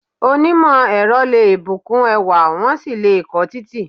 Onímò ẹ̀rọ le bukun ẹwà, wọ́n sì le ko títì